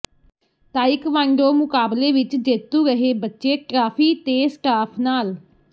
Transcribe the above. taekwondo ਮੁਕਾਬਲੇ ਵਿਚ ਜੇਤੂ ਰਹੇ ਬੱਚੇ ਟਰਾਫੀ ਤੇ ਸਟਾਫ ਨਾਲ